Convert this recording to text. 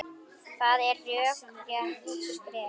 Það er rökrétt skref.